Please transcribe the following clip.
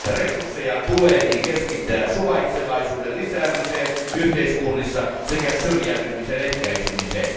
Resursseja tuleekin keskittää suvaitsevaisuuden lisäämiseen yhteiskunnissa sekä syrjäytymisen ehkäisemiseen.